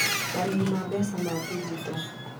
Marĩhi ma mbeca ma digito: